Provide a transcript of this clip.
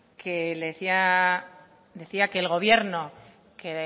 decía que el gobierno